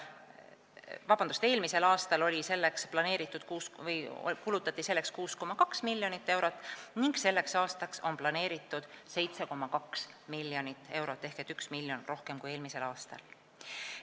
Eelmisel aastal kulutati selleks 6,2 miljonit eurot ning selleks aastaks on planeeritud 7,2 miljonit eurot ehk 1 miljon rohkem kui eelmisel aastal.